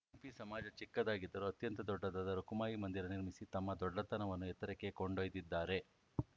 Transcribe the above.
ಸಿಂಪಿ ಸಮಾಜ ಚಿಕ್ಕದಾಗಿದ್ದರೂ ಅತ್ಯಂತ ದೊಡ್ಡದಾದ ರುಖುಮಾಯಿ ಮಂದಿರ ನಿರ್ಮಿಸಿ ತಮ್ಮ ದೊಡ್ಡತನವನ್ನು ಎತ್ತರಕ್ಕೆ ಕೊಂಡೋಯ್ದಿದ್ದಾರೆ